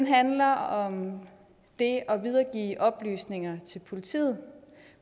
handler om det at videregive oplysninger til politiet